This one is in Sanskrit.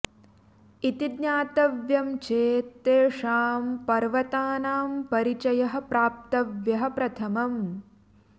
इति ज्ञातव्यं चेत् तेषां पर्वतानां परिचयः प्राप्तव्यः प्रथमम्